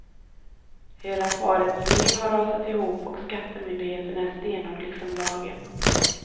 Hela parets liv har rasat ihop och skattemyndigheten är stenhård liksom lagen.